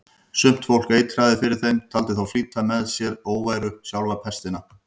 Sumt fólk eitraði fyrir þeim, taldi þá flytja með sér óværu, sjálfa pestina.